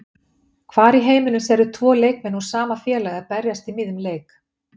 Hvar í heiminum sérðu tvo leikmenn úr sama félagi að berjast í miðjum leik?